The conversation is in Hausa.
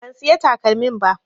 Ban siya takalmin ba